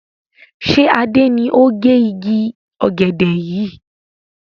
Ṣé Adé ni ó gẹ igi ọ̀gẹ̀dẹ̀ yìí?